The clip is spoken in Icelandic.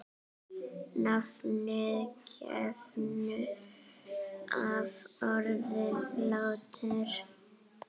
Nafnið kemur af orðinu látur.